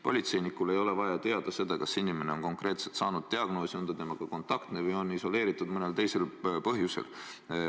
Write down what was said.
Politseinikul ei ole vaja teada, kas see inimene on konkreetselt saanud diagnoosi, on ta kontaktne või on ta isoleeritud mõnel teisel põhjusel.